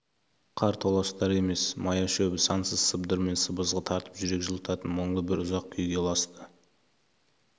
қар толастар емес мая шөбі сансыз сыбдырмен сыбызғы тартып жүрек жылататын мұңлы бір ұзақ күйге ұласты